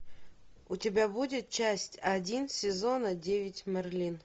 у тебя будет часть один сезона девять мерлин